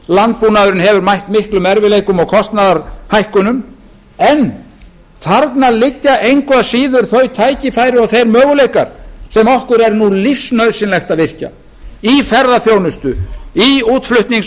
landbúnaðurinn hefur mætt miklum erfiðleikum og kostnaðarhækkunum en þarna liggja engu að síður þau tækifæri og þeir möguleikar sem okkur er nú lífsnauðsynlegt að virkja í ferðaþjónustu í útflutnings